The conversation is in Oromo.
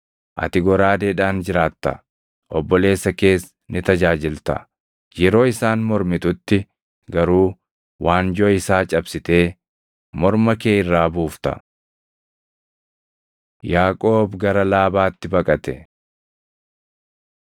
Ati goraadeedhaan jiraatta; obboleessa kees ni tajaajilta. Yeroo isaan mormitutti garuu waanjoo isaa cabsitee morma kee irraa buufta.” Yaaqoob gara Laabaatti baqate